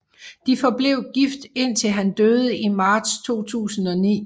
De forblev gift indtil han døde i marts 2009